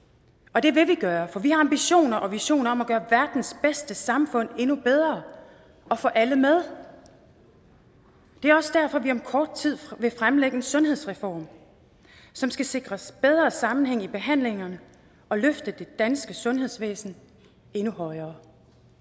og det vil vi gøre for vi har ambitioner og visioner om at gøre verdens bedste samfund endnu bedre og få alle med det er også derfor at vi om kort tid vil fremlægge en sundhedsreform som skal sikre bedre sammenhæng i behandlingerne og løfte det danske sundhedsvæsen endnu højere